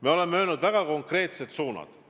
Me oleme teada andnud väga konkreetsed suunad.